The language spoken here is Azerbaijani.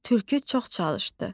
Tülkü çox çalışdı.